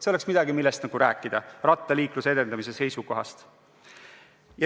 See oleks midagi, millest rääkida rattaliikluse edendamise seisukohast.